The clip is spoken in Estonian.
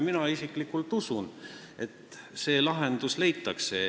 Mina isiklikult usun, et see lahendus leitakse.